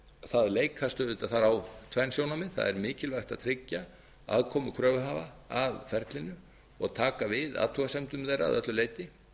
það leikast auðvitað þar á tvenn sjónarmið það er mikilvægt að tryggja aðkomu kröfuhafa að ferlinu og taka við athugasemdum þeirra að öllu leyti